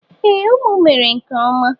E, unu mere nke ọma.